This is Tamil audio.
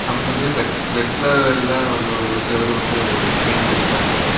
வந்து ரெட் ரெட் கலர்லெல்லாம் செவுரு வந்து பெயிண்ட் பண்ணிருக்காங்க.